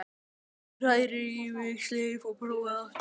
Hrærir í með sleif og prófar aftur.